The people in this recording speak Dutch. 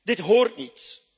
Dit hoort niet.